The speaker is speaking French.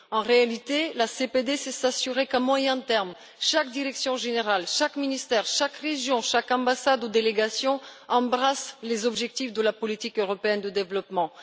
En réalité, la CPD, c'est s'assurer qu'à moyen terme, chaque direction générale, chaque ministère, chaque région, chaque ambassade ou délégation embrasse les objectifs de la politique européenne de développement.